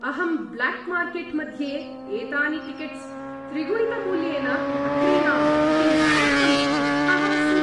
अहं black market मध्ये एतानि टिकेट्स् त्रिगुणितमूल्येन अक्रीणाम् इति नितान्तं क्रुद्धः अस्मि।